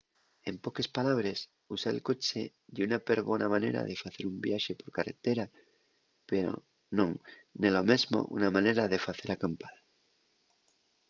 en poques palabres usar el coche ye una perbona manera de facer un viaxe per carretera pero non nello mesmo una manera de facer acampada